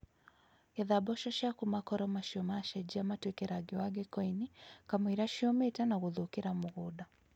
Getha mboco ciaku makoro macio machenjia matuĩke rangi wa ngikoini, kamũira ciũmĩte na gũthũkĩra mũgũnda.